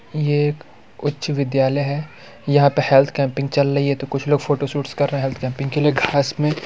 ये एक उच्च विद्यालय है यहाँ पे हेल्थ कैम्पिंग चल रही है तो कुछ लोग फोटोशूट्स कर रहें हैं हेल्थ कैम्पिंग के लिए घास में --